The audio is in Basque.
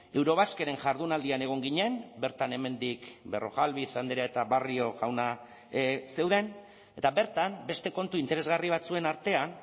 eurobasqueren jardunaldian egon ginen bertan hemendik berrojalbiz andrea eta barrio jauna zeuden eta bertan beste kontu interesgarri batzuen artean